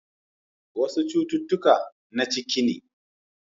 Wasu cututtuka na ciki ne.